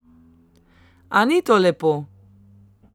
A ni to lepo?